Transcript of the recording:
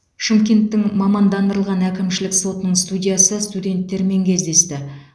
шымкенттің мамандандырылған әкімшілік сотының судьясы студенттермен кездесті